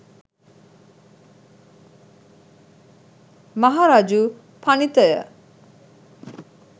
මහරජු පණිත ය.